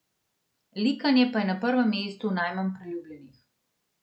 Likanje pa je na prvem mestu najmanj priljubljenih.